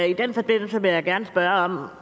i den forbindelse vil jeg gerne spørge om